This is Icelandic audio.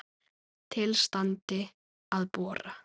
Til standi að bora.